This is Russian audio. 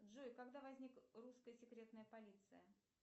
джой когда возник русская секретная полиция